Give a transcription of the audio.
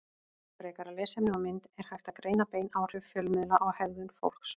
Frekara lesefni og mynd Er hægt að greina bein áhrif fjölmiðla á hegðun fólks?